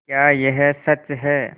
क्या यह सच है